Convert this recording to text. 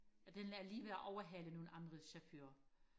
at den er lige ved og overhæle nogle andre chauffører